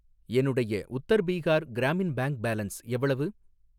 என்னுடைய Uttar Bihar Gramin bank balance எவ்வளவு?